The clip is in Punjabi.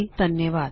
ਸਤਿ ਸ਼੍ਰੀ ਅਕਾਲ